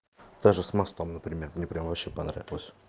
даже с мостом например не прям вообще понравилась